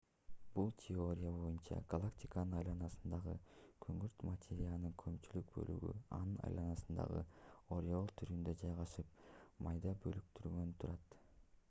бул теория боюнча галактиканын айланасындагы күңүрт материянын көпчүлүк бөлүгү анын айланасында ореол түрүндө жайгашып майда бөлүктөрдөн турат